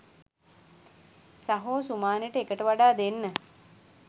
සහෝ සුමානෙට එකට වඩා දෙන්න